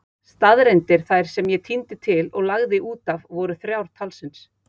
Staðreyndir þær sem ég tíndi til og lagði útaf voru þrjár talsins.